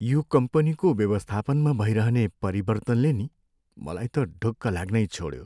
यो कम्पनीको व्यवस्थापनमा भइरहने परिवर्तनले नि मलाई त ढुक्क लाग्नै छोड्यो।